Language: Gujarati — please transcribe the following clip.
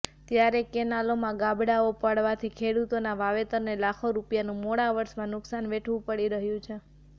ત્યારે કેનાલોમાં ગાબડાંઓ પાડવાથી ખેડૂતોના વાવેતરને લાખો રૂપિયાનું મોળા વર્ષમાં નુકસાન વેઠવું પડી રહ્યુ છે